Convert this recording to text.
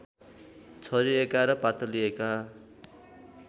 छरिएका र पातलिएका